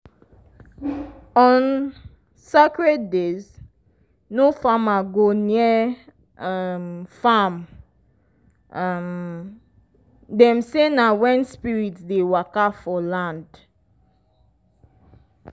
on sacred days no farmer go near um farm um dem say na when spirits dey waka for land.